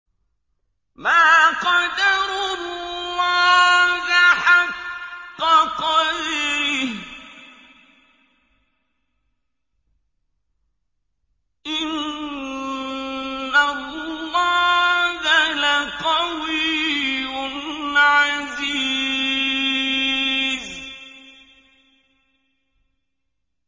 مَا قَدَرُوا اللَّهَ حَقَّ قَدْرِهِ ۗ إِنَّ اللَّهَ لَقَوِيٌّ عَزِيزٌ